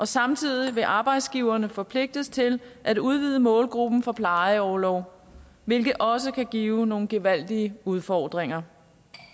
samtidig vil arbejdsgiverne forpligtes til at udvide målgruppen for plejeorlov hvilket også kan give nogle gevaldige udfordringer